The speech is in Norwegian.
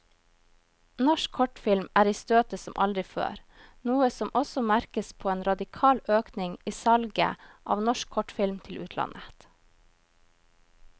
Norsk kortfilm er i støtet som aldri før, noe som også merkes på en radikal økning i salget av norsk kortfilm til utlandet.